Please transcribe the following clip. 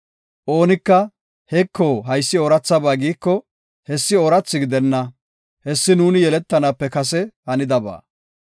Oonika, “Heko, haysi oorathaba” giiko, hessi oorathi gidenna; hessi nuuni yeletanaape kase hanidaba.